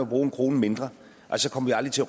bruge en krone mindre så kommer vi aldrig til